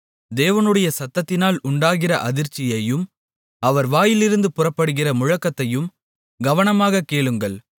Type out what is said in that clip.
தேவனுடைய சத்தத்தினால் உண்டாகிற அதிர்ச்சியையும் அவர் வாயிலிருந்து புறப்படுகிற முழக்கத்தையும் கவனமாகக் கேளுங்கள்